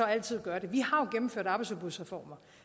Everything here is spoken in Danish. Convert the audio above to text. altid gøre det vi har jo gennemført arbejdsudbudsreformer